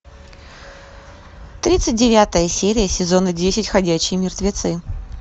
тридцать девятая серия сезона десять ходячие мертвецы